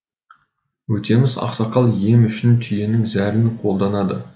өтеміс ақсақал ем үшін түйенің зәрін қолданады